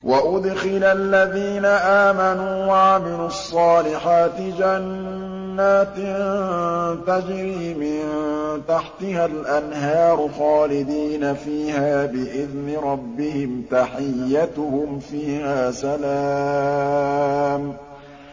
وَأُدْخِلَ الَّذِينَ آمَنُوا وَعَمِلُوا الصَّالِحَاتِ جَنَّاتٍ تَجْرِي مِن تَحْتِهَا الْأَنْهَارُ خَالِدِينَ فِيهَا بِإِذْنِ رَبِّهِمْ ۖ تَحِيَّتُهُمْ فِيهَا سَلَامٌ